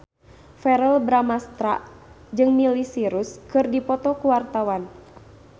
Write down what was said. Verrell Bramastra jeung Miley Cyrus keur dipoto ku wartawan